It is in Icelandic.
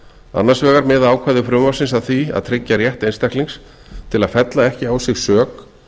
annars vegar miða ákvæði frumvarpsins að því að tryggja rétt einstaklings til fella ekki á sig sök